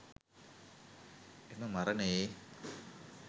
එම මරණයේ